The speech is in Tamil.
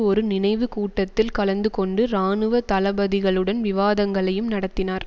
ஒரு நினைவு கூட்டத்தில் கலந்து கொண்டு இராணுவ தளபதிகளுடன் விவாதங்களையும் நடத்தினார்